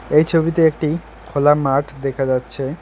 এই ছবিতে একটি খোলা মাঠ দেখা যাচ্ছে।